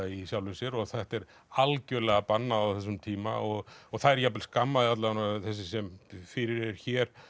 í sjálfri sér og þetta er algjörlega bannað á þessum tíma þær jafnvel skammast alla vega þessi sem fyrir er hér